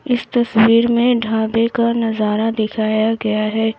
इस तस्वीर में ढाबे का नजारा दिखाया गया है।